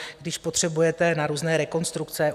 Když potřebujete na různé rekonstrukce.